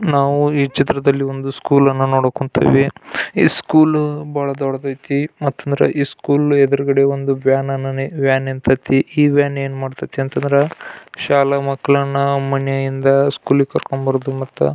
ನಾವು ಈ ಚಿತ್ರದಲ್ಲಿ ಒಂದು ಸ್ಕೂಲ್ ಅನ್ನ ನೋಡಕುಂತಿದ್ವಿ ಈ ಸ್ಕೂಲ್ ಬಾಳ ದೊಡ್ಡದ್ ಅಯ್ತಿ ಮತ್ ಅಂದ್ರ ಈ ಸ್ಕೂಲ್ ಎದ್ರ್ ಗಡೆ ವ್ಯನನ ವ್ಯಾನ ನಿಂತಾತೈತಿ ಈ ವ್ಯಾನ್ ಏನ್ ಮಾಡತೈತಿ ಅಂದ್ರೆ ಶಾಲಾ ಮಕ್ಕಳನ್ನ ಮನೆ ಇಂದ ಸ್ಕೂಲ್ಗ್ ಕರ್ಕ ಬರೋದು ಮತ್ತು --